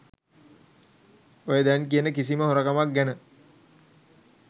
ඔය දැන් කියන කිසිම හොරකමක්‌ ගැන